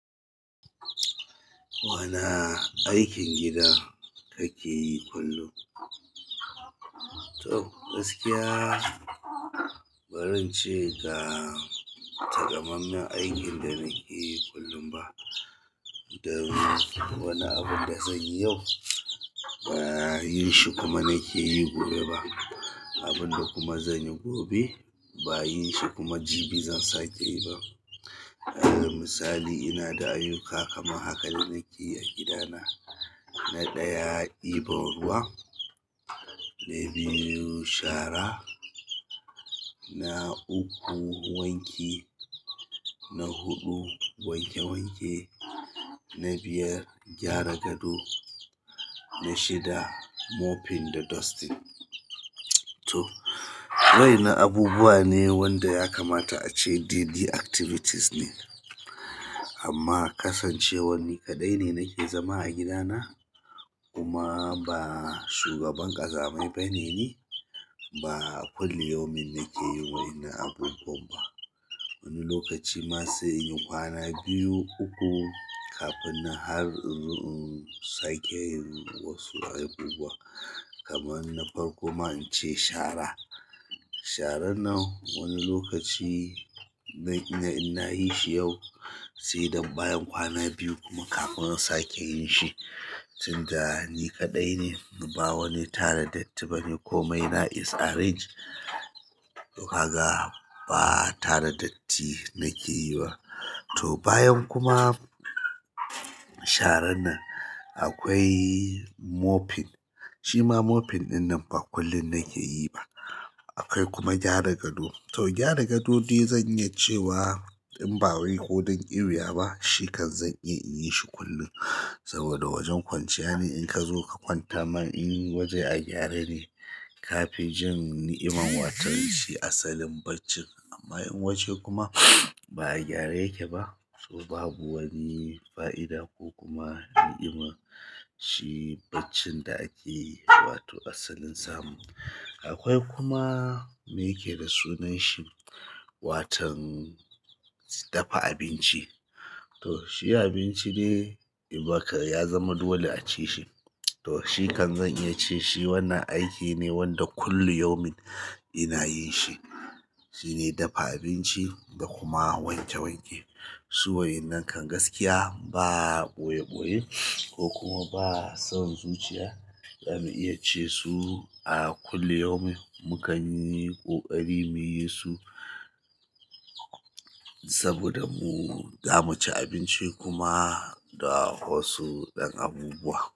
Wana aikin gida kake yi kullum? To, gaskiya, ba zan ce ga takamammen aikin da nake yi kullum ba. Wani abun da zan yi yau, ba yin shi kuma nake yi gobe ba. Abin da kuma zan yi gobe, ba yin shi kuma jibi zan sake yi ba. Misali, ina da ayuka kaman haka da nake yi a gidana. Na ɗaya ɗibo ruwa na biyu shara na uku, wanki, na huɗu, wanke wanke, na biyar, gyara gado, na shida, mopping da dusting. To wa'innan abubuwane wanda yakamata ace daidai activities ne amma kasancewan ni kaɗai ne nake zama a gidana kuma ba shugaban ƙazamai ba ne ni, ba kullum yawan nake yin wa'ina abubuwan ba. Wani lokaci ma sai inyi kwana biyu, uku kafin na har inzo in sake yin wasu abubuwa. Kaman na farko ma, in ce shara. Sharan nan wani lokaci zan iya in na yi shi yau, sai dan bayan kwana biyu kuma kafin in sake yin shi. Tunda ni kaɗai ne, ba wani tare datti ni ba ni ko mai na is arrange. Tokaga ba tare datti nake yi ba. To bayan kuma sharan nan akwai mopping. Shi ma mopping ɗinnan ba kullum nake yi ba. Akwai kuma gyara gado. To, gyara gadodai zan iya cewa in ba wai kodan ƙiuwiya ba, shi kan zan iya in yi shi kullum. Saboda wajen kwanciya ne inkazo ka kwanta ma inwajen a gyare ne kafi jin ni'iman watan shi asalin baccin amma in waje kuma ba a gyara yake ba, to babu wani fa'ida ko kuma ni'ima shi baccin da ake yi wato asalin samu. Akwai kuma me yake da sunan shi, watan dafa abinci. To, shi abinci dai in ba ka ya zama dole a ci shi. To, shi kan zan iya ce shi wannan aiki ne wanda kullu yaumin ina yin shi. Shi ne dafa abinci da kuma wanke wanke. So wa'innan kan gaskiya ba boyeboye ko kuma ba son zuciya zamu iya ce su a kullu yaumin mu kan yi ƙoƙari mu yi su. Saboda mu zamu ci abinci kuma da wasu ɗan abubuwa.